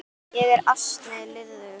Ég er ansi liðug!